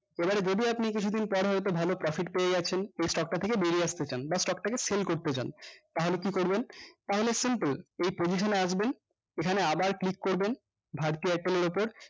এবারে যদি আপনি কিছুদিন পর হয়তো ভালো profit পেয়ে যাচ্ছেন এই stock টা থেকে বেরিয়ে আসতে চান বা stock টা কে sell করতে চান তাহলে কি করবেন তাহলে simple এই position এ আসবেন এখানে আবার click করবেন bharti airtel এর উপর